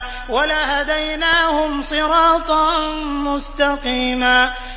وَلَهَدَيْنَاهُمْ صِرَاطًا مُّسْتَقِيمًا